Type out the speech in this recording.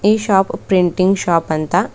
ಈ shop printing shop ಅಂತ.